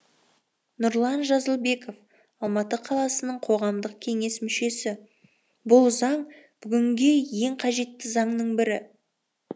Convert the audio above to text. нұрлан жазылбеков алматы қаласының қоғамдық кеңес мүшесі бұл заң бүгінге ең қажетті заңның бірі